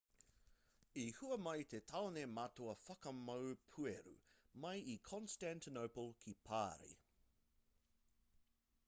i hua mai te taone matua whakamau pueru mai i constantinople ki parī